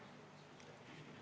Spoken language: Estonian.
Istungi lõpp kell 13.10.